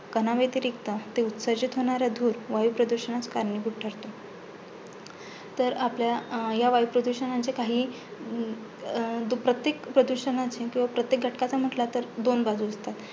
कणाव्यतिरिक्त ते उत्सर्जित होणारे धूर वायुप्रदूषणास कारणीभूत ठरतो. तर आपल्या ह्या वायुप्रदुषणाचे काही अं जो प्रत्येक प्रदूषणाचे किंवा प्रत्येक घटकाचे म्हटले, तर दोन बाजू असतात.